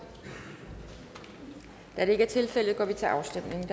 da det ikke er tilfældet går vi til afstemning